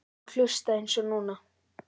Og hlusta eins og núna.